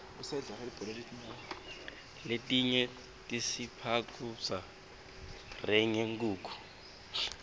letinye tisiphakubza ryeenge nkhukhu